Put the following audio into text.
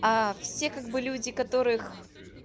а все как бы люди которых